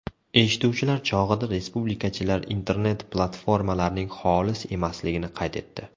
Eshituvlar chog‘ida respublikachilar internet-platformalarning xolis emasligini qayd etdi.